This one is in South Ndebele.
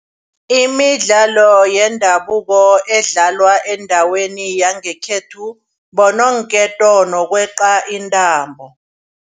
Imidlalo yendabuko edlalwa endaweni yangekhethu bononketo nokweqa intambo.